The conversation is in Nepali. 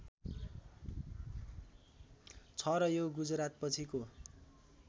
छ र यो गुजरातपछिको